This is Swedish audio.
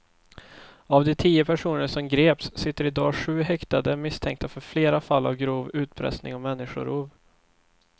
Av de tio personer som greps sitter i dag sju häktade misstänkta för flera fall av grov utpressning och människorov.